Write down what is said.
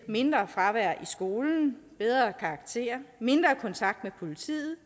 mindre fravær i skolen bedre karakterer mindre kontakt med politiet